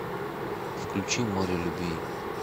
включи море любви